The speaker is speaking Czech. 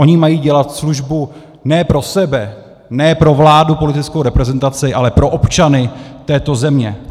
Oni mají dělat službu ne pro sebe, ne pro vládu, politickou reprezentaci, ale pro občany této země.